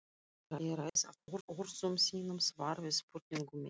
Ég ræð af orðum þínum svar við spurningu minni.